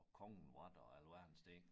Og kongen var der og alverdens ting